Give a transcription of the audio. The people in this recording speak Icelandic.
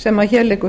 sem hér liggur